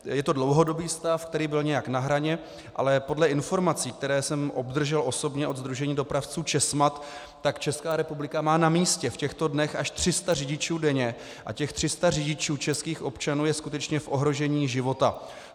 Je to dlouhodobý stav, který byl nějak na hraně, ale podle informací, které jsem obdržel osobně od sdružení dopravců Česmad, tak Česká republika má na místě v těchto dnech až 300 řidičů denně a těch 300 řidičů, českých občanů, je skutečně v ohrožení života.